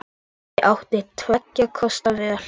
Ég átti tveggja kosta völ.